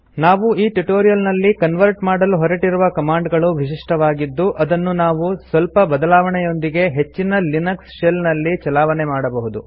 ನಾವು ಈ ಟ್ಯುಟೋರಿಯಲ್ ನಲ್ಲಿ ಕನ್ವರ್ಟ್ ಮಾಡಲು ಹೊರಟಿರುವ ಕಮಾಂಡ್ ಗಳು ವಿಶಿಷ್ಟವಾಗಿದ್ದು ಇದನ್ನು ನಾವು ಸ್ವಲ್ಪ ಬದಲಾವಣೆಯೊಂದಿಗೆ ಹೆಚ್ಚಿನ ಲಿನಕ್ಸ್ ಶೆಲ್ ನಲ್ಲಿ ಚಲಾವಣೆ ಮಾಡಬಹುದು